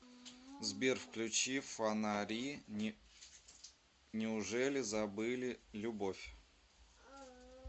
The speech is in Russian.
сбер включи фонари неужели забыли любовь